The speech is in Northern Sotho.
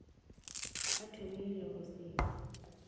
a thomile go se sa